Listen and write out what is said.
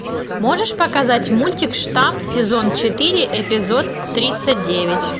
можешь показать мультик штамм сезон четыре эпизод тридцать девять